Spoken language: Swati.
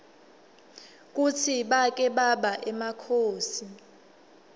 kutsi bake baba emakhosi